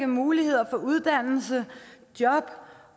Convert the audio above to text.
muligheder for uddannelse og job